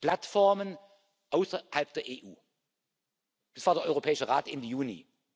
Plattformen außerhalb der EU Es war der Europäische Rat in Juni.